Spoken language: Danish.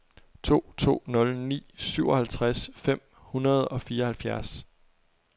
to to nul ni syvoghalvtreds fem hundrede og fireoghalvfjerds